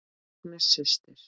Agnes systir.